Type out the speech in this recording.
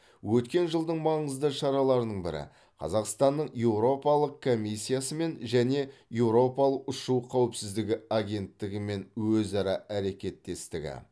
өткен жылдың маңызды шараларының бірі қазақстанның еуропалық комиссиясымен және еуропалық ұшу қауіпсіздігі агенттігімен өзара әрекеттестігі